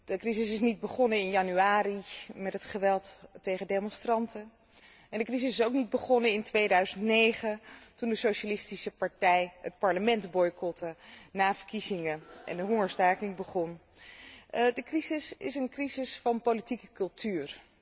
De crisis is niet begonnen in januari met het geweld tegen demonstranten, en de crisis is ook niet begonnen in 2009, toen de Socialistische Partij het parlement boycotte na verkiezingen en de hongerstaking begon. De crisis is een crisis van politieke cultuur.